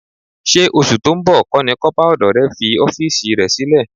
Ṣé oṣù tó ń bọ̀ kọ́ ni kọ́pà ọdọ rẹ fi ọ́fíìsì rẹ sílẹ̀?